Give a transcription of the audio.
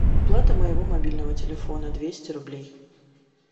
оплата моего мобильного телефона двести рублей